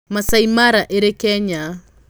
Maasai Mara ĩrĩ Kenya.